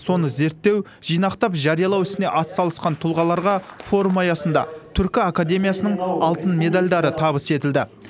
соны зерттеу жинақтап жариялау ісіне атсалысқан тұлғаларға форум аясында түркі академиясының алтын медальдары табыс етілді